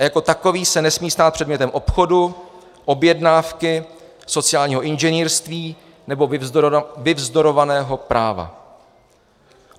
A jako takový se nesmí stát předmětem obchodu, objednávky, sociálního inženýrství nebo vyvzdorovaného práva.